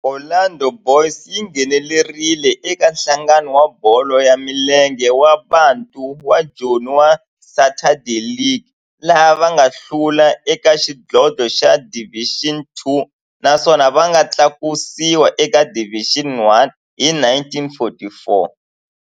Orlando Boys yi nghenelerile eka Nhlangano wa Bolo ya Milenge wa Bantu wa Joni wa Saturday League, laha va nga hlula eka xidlodlo xa Division Two naswona va nga tlakusiwa eka Division One hi 1944.